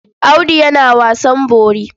Audu yana wasan bori.